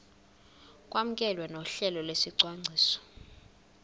kwamkelwe nohlelo lwesicwangciso